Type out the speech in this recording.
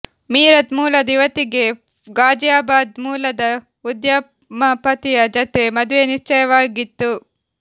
ಮೀರತ್ ಮೂಲದ ಯುವತಿಗೆ ಘಾಜಿಯಾಬಾದ್ ಮೂಲದ ಉದ್ಯಮಪತಿಯ ಜತೆ ಮದುವೆ ನಿಶ್ಚಯವಾಗಿತ್ತು